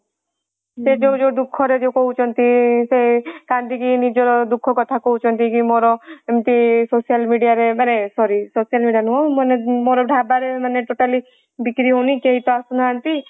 ସେ ଯାଉ ଦୁଃଖ ଯୋଉ କହୁଛନ୍ତି ସେ ସେ କାନ୍ଦିକି ନିଜର ଦୁଃଖ କଥା କହୁଛନ୍ତି କି ମୋର ଏମତି social media ରେ ମାନେ social media ନୁହଁ ମୋର ଢାବାରେ ମାନେ ବିକ୍ରି ହଉନି କେଇ ତ ଆସୁନାନ୍ତି ।